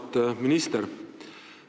Auväärt minister!